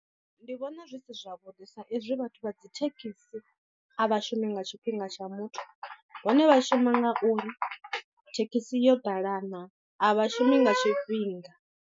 Ndi vhona zwi si zwavhuḓi sa izwi vhathu vha dzi thekhisi a vhashumi nga tshifhinga tsha muthu hone vha shuma nga uri thekhisi yo ḓala naa a vhashumi nga tshifhinga.